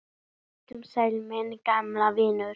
Vertu sæll, minn gamli vinur.